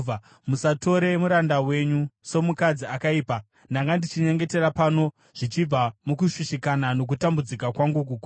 Musatora muranda wenyu somukadzi akaipa; ndanga ndichinyengetera pano zvichibva mukushushikana nokutambudzika kwangu kukuru.”